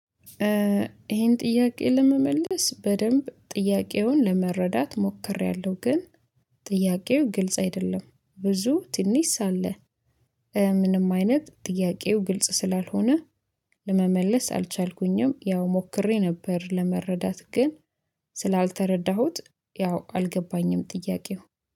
ይሄን ጥያቄ ለመመለስ በደንብ ጥያቄውን ለመረዳት ሞክሬያለሁ ግን ጥያቄው ግልጽ አይደለም ብዙ ትንሽ ሳለ ምንም አይነት ጥያቄው ግልጽ ስላልሆነ ለመመለስ አልቻልኩኝም። ያው ሞክሬ ነበር ለመረዳት ግን ስላልተረዳሁት ያው አልገባኝም ጥያቄው